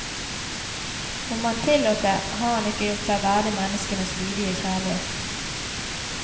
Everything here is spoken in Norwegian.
Om han tillot det, har han ikke gjort seg verdig menneskenes lydige kjærlighet.